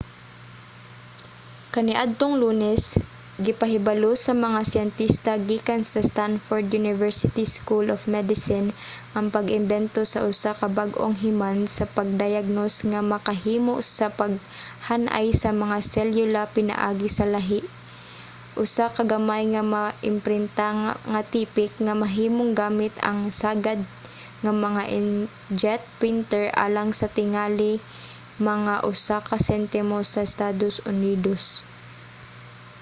kaniadtong lunes gipahibalo sa mga siyentista gikan sa stanford university school of medicine ang pag-imbento sa usa ka bag-ong himan sa pagdayagnos nga makahimo sa paghan-ay sa mga selyula pinaagi sa lahi: usa ka gamay nga maimprinta nga tipik nga mahimong gamit ang sagad nga mga inkjet printer alang sa tingali mga usa ka sentimo sa estados unidos